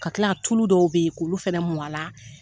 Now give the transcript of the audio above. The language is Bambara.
Ka kila ka tulu dɔw bɛ yen k'olu fɛnɛ mun a la